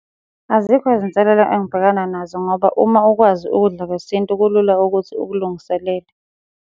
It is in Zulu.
Azikho izinselela engibhekana nazo ngoba uma ukwazi ukudla kwesintu kulula ukuthi ukulungiselele.